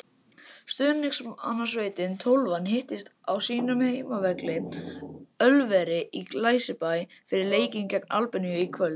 Stuðningsmannasveitin Tólfan hittist á sínum heimavelli, Ölveri í Glæsibæ, fyrir leikinn gegn Albaníu í kvöld.